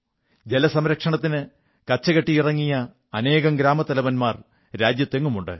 ജലസംരക്ഷണത്തിന് കച്ചകെട്ടിയിറങ്ങിയ അനേകം ഗ്രാമത്തലവന്മാർ രാജ്യമെങ്ങുമുണ്ട്